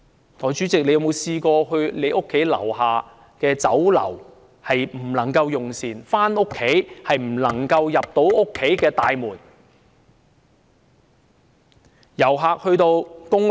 代理主席，你曾否試過無法到你家樓下的酒樓用膳，回家時又無法進入你家大廈的大門？